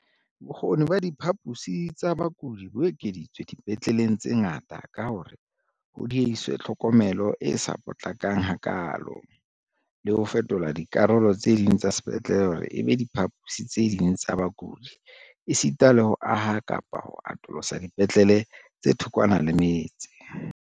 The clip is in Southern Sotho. Bokgoni ba diphaposi tsa bakudi bo ekeditswe dipetleleng tse ngata ka hore ho diehiswe tlhokomelo e sa potlakang hakaalo, le ho fetola dikarolo tse ding tsa sepetlele hore e be diphaposi tse ding tsa bakudi esita le ho aha kapa ho atolosa dipetlele tse thokwana le metse.